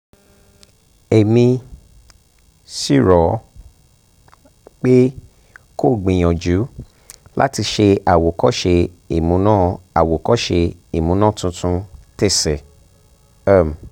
èmi um sì rọ̀ ẹ́ um pé kó o gbìyànjú láti ṣe àwòkọ́ṣe ìmúná àwòkọ́ṣe ìmúná tuntun tese um